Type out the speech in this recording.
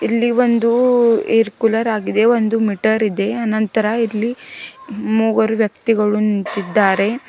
ಇಲ್ಲಿ ಒಂದು air cooler ಆಗಿದೆ ಒಂದು ಮೀಟರ್ ಇದೆ ಅನಂತರ ಇಲ್ಲಿ ಮೂವರು ವ್ಯಕ್ತಿಗಳು ನಿಂತಿದ್ದಾರೆ.